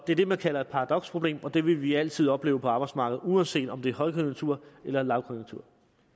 det er det man kalder et paradoksproblem og det vil vi altid opleve på arbejdsmarkedet uanset om der er højkonjunktur eller lavkonjunktur